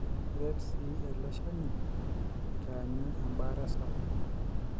keret siii ele shani aitaanyu ebaare sapuk